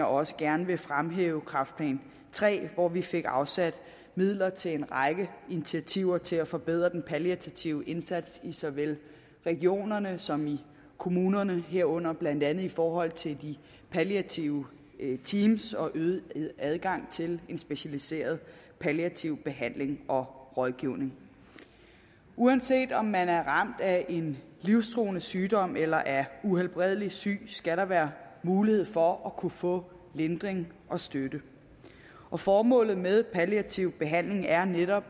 også gerne fremhæve kræftplan iii hvor vi fik afsat midler til en række initiativer til at forbedre den palliative indsats i såvel regionerne som kommunerne herunder blandt andet i forhold til de palliative teams og øget adgang til en specialiseret palliativ behandling og rådgivning uanset om man er ramt af en livstruende sygdom eller er uhelbredelig syg skal der være mulighed for at kunne få lindring og støtte og formålet med en palliativ behandling er netop